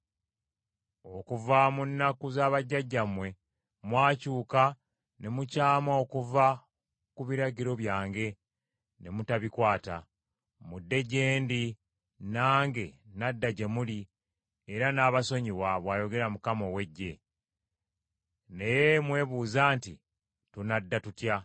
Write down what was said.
Okuva mu nnaku za bajjajjammwe mwakyuka ne mukyama okuva ku biragiro byange ne mutabikwata. Mudde gye ndi, nange nadda gye muli era nnaabasonyiwa,” bw’ayogera Mukama ow’Eggye. “Naye mwebuuza nti, ‘Tunadda tutya?’